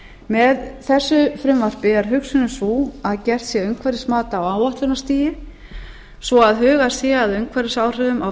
með þessu frumvarpi er hugsunin sú að gert sé umhverfismat á áætlunarstigi svo hugað sé að umhverfisáhrifum á